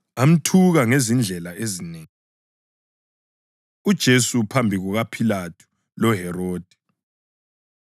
Amthuka ngezindlela ezinengi. UJesu Phambi KukaPhilathu LoHerodi